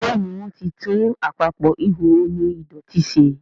Béèni wón tí tún Àpapọ̀ ihò omi ìdọ̀tító ṣe.